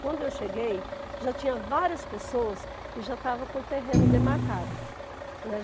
Quando eu cheguei, já tinha várias pessoas que já estavam com o terreno demarcado.